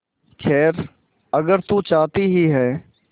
खैर अगर तू चाहती ही है